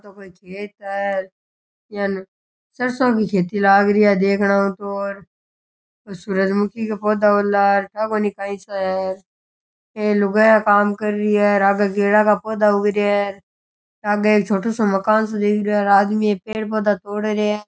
ओ तो कोई खेत है यान सरसो की खेती लागरी है देखनेऊ तो सूरज मुखी का पौधा हूला ठा कोनी काई सा है ए लुगाईया काम कर रही है आगे गेड़ा का पौधा उग रहिया है आगे एक छोटा साे मकान साे दिख रहियो है आदमी ए पेड़ पौधा तोड़ रहिया है।